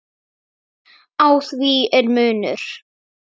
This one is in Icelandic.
Á því er munur.